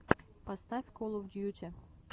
поставь кол оф дьюти